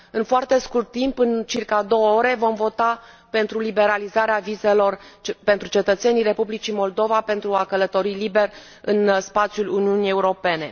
În foarte scurt timp, în circa 2 ore, vom vota pentru liberalizarea vizelor pentru cetățenii Republicii Moldova pentru a călători liber în spațiul Uniunii Europene.